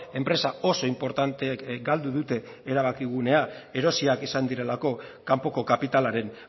enpresa oso inportanteek galdu dute erabakigunea erosiak izan direlako kanpoko kapitalaren